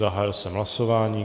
Zahájil jsem hlasování.